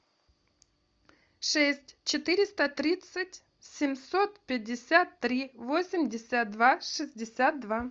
шесть четыреста тридцать семьсот пятьдесят три восемьдесят два шестьдесят два